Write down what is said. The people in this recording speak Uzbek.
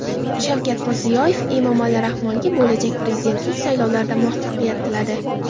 Shavkat Mirziyoyev Emomali Rahmonga bo‘lajak prezidentlik saylovlarida muvaffaqiyat tiladi.